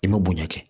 I ma bonya kɛ